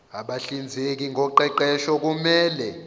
abahlinzeki ngoqeqesho kumele